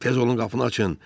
Tez olun qapını açın!